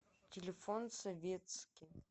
телефон советски